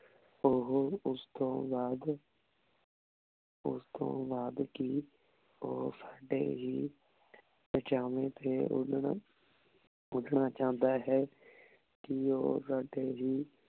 ਓਹੋ ਓਸ ਤੋਂ ਬਾਅਦ ਓਸ ਤੋਂ ਬਾਅਦ ਕੀ ਓ ਸਾਡੇ ਹੀ ਪਾਚਾਵੇਨ ਤੇ ਓੜਨ ਉੜਨਾ ਚੌਂਦਾ ਹੈ ਕੀ ਊ ਸਾਡੇ ਹੀ